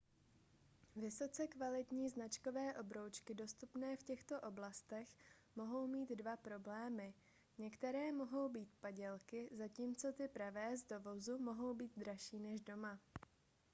vysoce kvalitní značkové obroučky dostupné v těchto oblastech mohou mít dva problémy některé mohou být padělky zatímco ty pravé z dovozu mohou být dražší než doma